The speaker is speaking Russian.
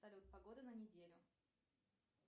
салют погода на неделю